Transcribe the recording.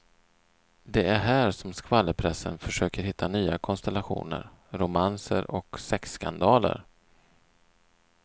Det är här som skvallerpressen försöker hitta nya konstellationer, romanser och sexskandaler.